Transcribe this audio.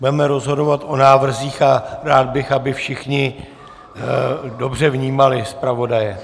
Budeme rozhodovat o návrzích a rád bych, aby všichni dobře vnímali zpravodaje.